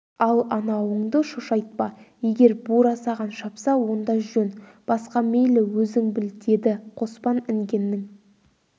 ал анауыңды шошайтпа егер бура саған шапса онда жөн басқа мейлі өзің біл деді қоспан інгеннің